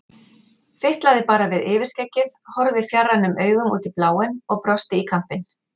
Fitlaði bara við yfirskeggið, horfði fjarrænum augum út í bláinn og brosti í kampinn.